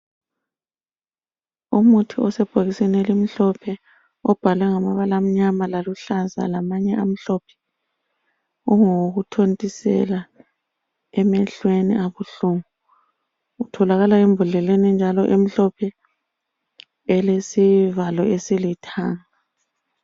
Umuthi osebhokisini elimhlophe obhalwe ngamabala amnyama laluhlaza lamanye amhlophe. Ungowokuthontisela emehlweni abuhungu. Utholakala embodleleni enjalo emhlophe elesivalo esilithanga.